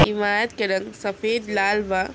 इमारत के रंग सफेद लाल बा।